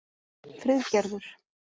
Friðgerður